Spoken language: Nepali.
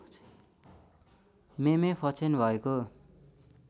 मेमे फक्षेन भएको